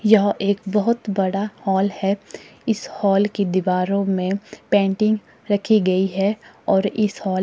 यह एक बहोत बड़ा हॉल है इस हाल की दीवारों में पेंटिंग रखी गई है और इस हॉल --